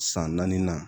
San naani na